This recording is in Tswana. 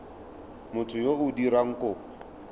motho yo o dirang kopo